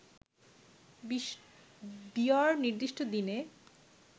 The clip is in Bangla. বিয়র নির্দিষ্ট দিনে